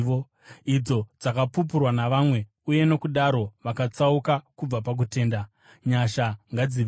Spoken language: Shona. idzo dzakapupurwa navamwe uye nokudaro vakatsauka kubva pakutenda. Nyasha ngadzive newe.